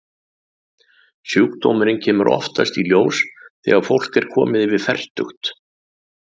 Sjúkdómurinn kemur oftast í ljós þegar fólk er komið yfir fertugt.